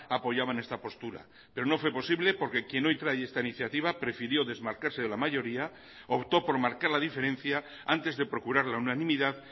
apoyaban esta postura pero no fue posible porque quien hoy trae esta iniciativa prefirió desmarcarse de la mayoría optó por marcar la diferencia antes de procurar la unanimidad